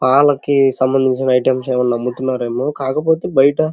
పాలకి సంబందించిన ఐటమ్స్ అమ్ముతున్నారు ఏమో కాకపోతే బైట --